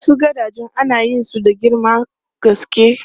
Wasu gadajen ana yin su da girman gaske.